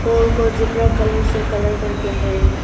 गोल गोल zebra colour से colour करके है।